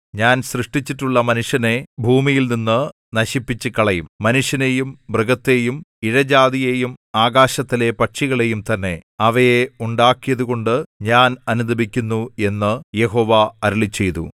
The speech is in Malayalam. ഞാൻ സൃഷ്ടിച്ചിട്ടുള്ള മനുഷ്യനെ ഭൂമിയിൽനിന്ന് നശിപ്പിച്ചുകളയും മനുഷ്യനെയും മൃഗത്തെയും ഇഴജാതിയെയും ആകാശത്തിലെ പക്ഷികളെയും തന്നെ അവയെ ഉണ്ടാക്കിയതുകൊണ്ട് ഞാൻ അനുതപിക്കുന്നു എന്നു യഹോവ അരുളിച്ചെയ്തു